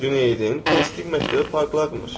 Cüneydin mistik məktəbi parlayırmış.